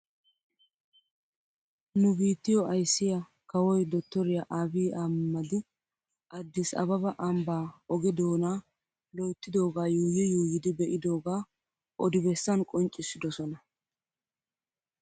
Nu biittiyo ayssiyaa kawoy dotoriyaa abiy ahmadi addis ababa ambaa oge doonaa loyttidoogaa yuuyi yuuyidi be'idoogaa odi bessan qonccissidosona .